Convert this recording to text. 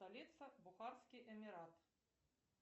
столица бухарский эмират